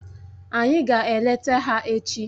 Anyị ga-eleta ha echi.